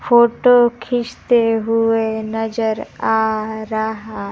photo खींचते हुए नजर आ रहा--